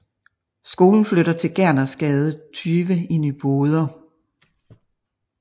Skolen flytter til Gernersgade 20 i Nyboder